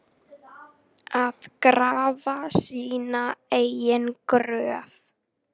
Að grafa sína eigin gröf